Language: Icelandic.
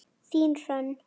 Þín Hrönn.